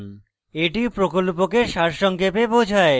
এটি প্রকল্পকে সারসংক্ষেপে বোঝায়